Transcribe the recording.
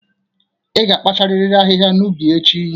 Ị ga-akpacharịrị ahịhịa n'ubi echi!